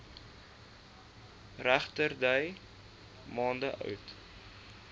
regterdy maande oud